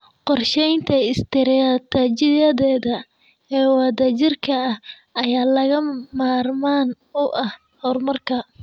Qorshaynta istiraatijiyadeed ee wadajirka ah ayaa lagama maarmaan u ah horumarka.